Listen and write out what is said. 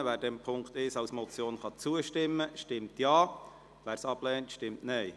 Wer diesem Punkt 1 a zustimmen kann, stimmt Ja, wer dies ablehnt, stimmt Nein.